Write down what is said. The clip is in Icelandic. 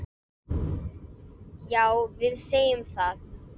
Já, við segjum það.